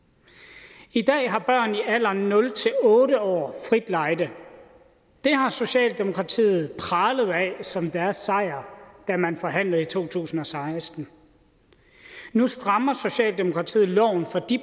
i i alderen nul otte år frit lejde det har socialdemokratiet pralet af som deres sejr da man forhandlede i to tusind og seksten nu strammer socialdemokratiet loven for de